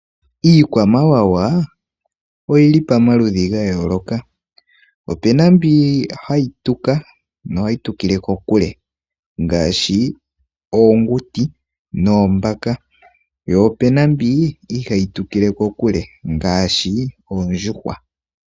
Iikwamawawa oyili pamaludhi ga yooloka. Opuna mbyoka hayi tuka, nohayi tukile kokule ngashi oonguti noombaka, po opena mbi ihayi tukile kokule ngashi oondjuhwa.